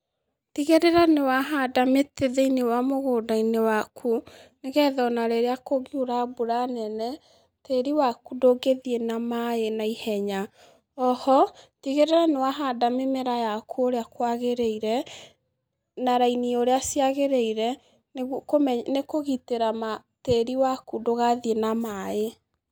Tigĩrĩra nĩ wahanda mĩtĩ thĩ-inĩ wa mũgũnda-inĩ waku, nĩ getha ona rĩrĩa kũngiura mbura nene, tĩri waku ndũngĩthiĩ na maaĩ na ihenya. Oho, tigĩrĩra nĩ wahanda mĩmera yaku ũrĩa kwagĩrĩire na raini ũrĩa ciagĩrĩire nĩ kũgitĩra tĩri waku ndũgathiĩ na maaĩ.